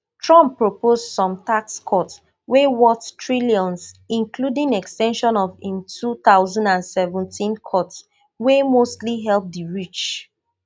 trump propose some tax cuts wey worth trillions including ex ten sion of im two thousand and seventeen cuts wey mostly help di rich